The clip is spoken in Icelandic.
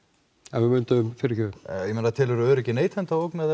ef við vildum fyrirgefðu ég meina telur þú öryggi neytenda ógnað